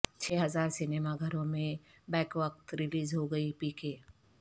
چھ ہزار سنیما گھروں میں بیکوقت ریلیز ہوگی پی کے